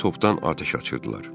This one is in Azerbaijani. Arabir topdan atəş açırdılar.